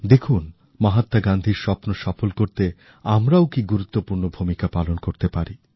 দেখুন মহাত্মা গান্ধীর স্বপ্ন সফল করতে আমরাও কি গুরুত্বপূর্ণ ভূমিকা পালন করতে পারি